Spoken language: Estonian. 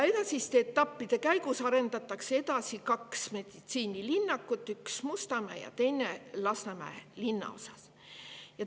Edasiste etappide käigus arendatakse edasi kaht meditsiinilinnakut, üks Mustamäe ja teine Lasnamäe linnaosas.